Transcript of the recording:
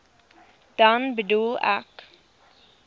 dan bedoel ek